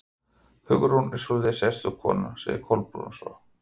Hugrún er svolítið sérstök kona sagði Kolbrún svo.